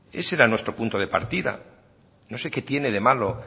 ese era nuestro punto de partida no sé qué tiene de malo